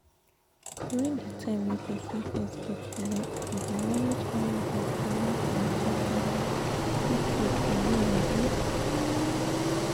during the time wey persin fest get belle if e dey manage high bp make dem talk am qik qik you know abi